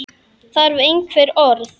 Þarf einhver orð?